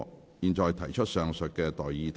我現在向各位提出上述待決議題。